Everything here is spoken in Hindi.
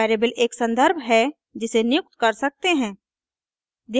वेरिएबल एक संदर्भ reference है जिसे नियुक्त कर सकते हैं